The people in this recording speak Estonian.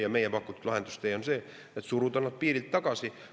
Ja meie pakutud lahendustee on see, et suruda nad piirilt tagasi.